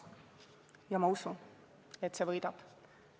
Ja ma usun, et see võidab.